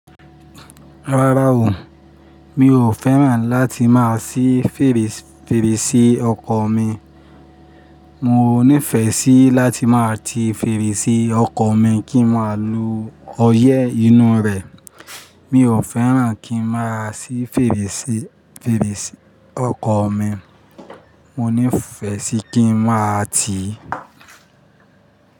Rárá o, mi ò fẹ́ràn láti máa ṣí fèrèsé ọkọ̀ mi. Mo nífẹ̀ẹ́ sí láti máa ti fèrèsé ọkọ̀ mi kí n máa lo ọyẹ́ inú rẹ̀. Mi ò fẹ́ràn kí n máa ṣí fèrèsé, fèrèsé ọkọ̀ mi. Mo nífẹ̀ẹ́ sí kí n máa ti.